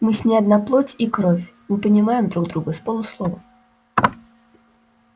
мы с ней одна плоть и кровь мы понимаем друг друга с полуслова